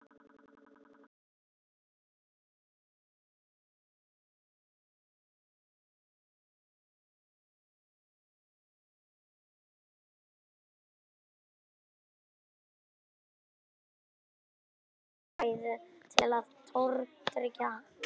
Ég var dauðþreyttur og sá enga ástæðu til að tortryggja hana.